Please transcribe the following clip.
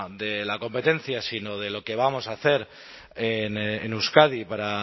de la competencia sino de lo que vamos a hacer en euskadi para